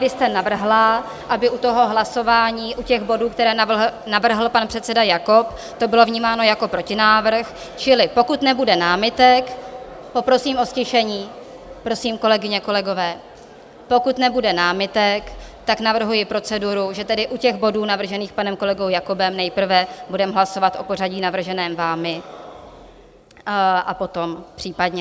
Vy jste navrhla, aby u toho hlasování u těch bodů, které navrhl pan předseda Jakob, to bylo vnímáno jako protinávrh, čili pokud nebude námitek - poprosím o ztišení, prosím, kolegyně, kolegové - pokud nebude námitek, tak navrhuji proceduru, že tedy u těch bodů navržených panem kolegou Jakobem nejprve budeme hlasovat o pořadí navrženém vámi a potom případně...